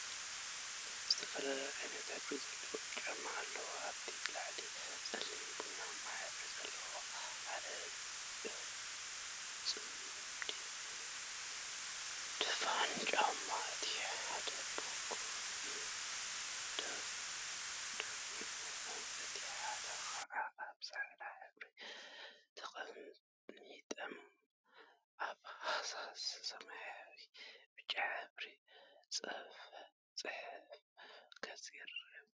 ዝተፈላለዩ ዓይነትን ሕብሪን ዘለዎም ጫማታት አለው፡፡ ንአብነት ላዕሉ ፀሊምን ቡናማን ሕብሪ ዘለዎም ሓደ ፅምዲ ድፉን ጫማ እቲ ሓደ ብጎኒ ወዲቁ እቲ ሓደ ከዓ አብ ፃዕዳ ሕብሪ ተቀሚጠም አብ ሃሳስ ሰማያዊን ብጫን ሕብሪ ድሕረ ገፅ ይርከቡ፡፡